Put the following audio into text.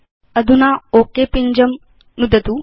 अधुना ओक पिञ्जं नुदतु